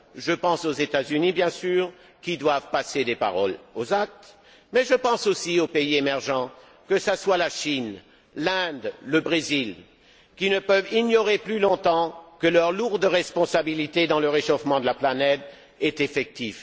Je pense aux États Unis, bien sûr, qui doivent passer des paroles aux actes, mais je pense aussi aux pays émergeants, que ce soit la Chine, l'Inde ou le Brésil, qui ne peuvent ignorer plus longtemps que leur lourde responsabilité dans le réchauffement de la planète est effective.